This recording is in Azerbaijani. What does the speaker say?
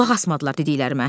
Qulaq asmadılar dediklərimə.